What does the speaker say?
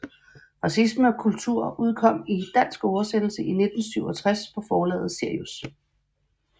Racisme og kultur udkom i dansk oversættelse i 1967 på forlaget Sirius